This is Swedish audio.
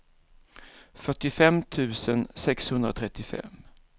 fyrtiofem tusen sexhundratrettiofem